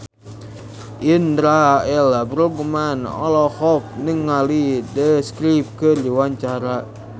Indra L. Bruggman olohok ningali The Script keur diwawancara